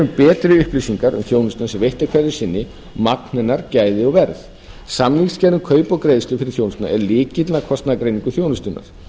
betri upplýsingar um þjónustuna sem veitt er hverju sinni magn hennar gæði og verð samningagerð um kaup og greiðslur fyrir þjónustuna er lykillinn að kostnaðargreiningu þjónustunnar